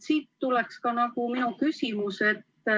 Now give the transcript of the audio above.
Siit tulebki küsimus.